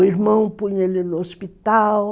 O irmão punha ele no hospital.